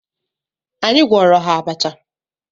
Anyị gwọọrọ ha abacha.